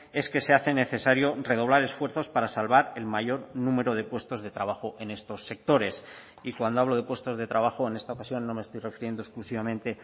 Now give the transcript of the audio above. es que se hace necesario redoblar esfuerzos para salvar el mayor número de puestos de trabajo en estos sectores y cuando hablo de puestos de trabajo en esta ocasión no me estoy refiriendo exclusivamente